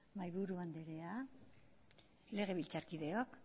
mahaiburu anderea legebiltzarkideok